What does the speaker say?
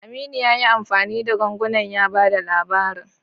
Aminu ya yi amfani da ganguna ya ba da labarin.